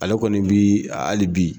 Ale kɔni bi hali bi